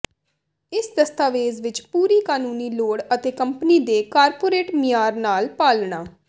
ਇਸ ਦਸਤਾਵੇਜ਼ ਵਿੱਚ ਪੂਰੀ ਕਾਨੂੰਨੀ ਲੋੜ ਅਤੇ ਕੰਪਨੀ ਦੇ ਕਾਰਪੋਰੇਟ ਮਿਆਰ ਨਾਲ ਪਾਲਣਾ